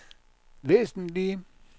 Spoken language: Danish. væsentlige